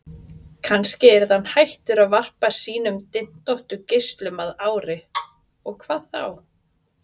Kannski yrði hann hættur að varpa sínum dyntóttu geislum að ári, og hvað þá?